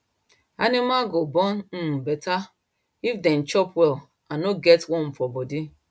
animal go born um better if dem dey chop well and no get worm for body